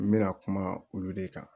N bɛna kuma olu de kan